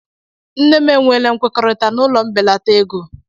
Nne m e nweela nkwekọrịta n'ụlọ mbelata ego (ụgwọ).